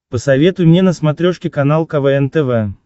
посоветуй мне на смотрешке канал квн тв